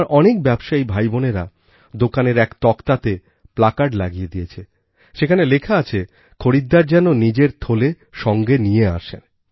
আমার অনেক ব্যবসায়ী ভাইবোনেরা দোকানের এক তক্তাতে প্লাকার্ড লাগিয়ে দিয়েছে যেখানে লেখা আছে খরিদ্দার যেন নিজের থলে সঙ্গে নিয়েই আসে